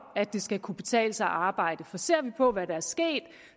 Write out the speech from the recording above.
at det skal kunne betale sig at arbejde for ser vi på hvad der er sket